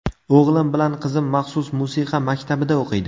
O‘g‘lim bilan qizim maxsus musiqa maktabida o‘qiydi.